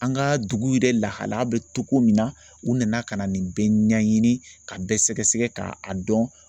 An ka dugu yɛrɛ lahalaya bɛ togo min na u nana ka na nin bɛɛ ɲɛɲini ka bɛɛ sɛgɛsɛgɛ k'a a dɔn.